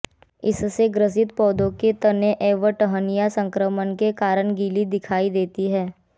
इससे ग्रसित पौधे के तने एवं टहनियाँ सक्रमण के कारण गीली दिखाई देती हैं